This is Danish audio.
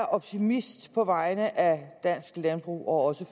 er optimist på vegne af dansk landbrug og også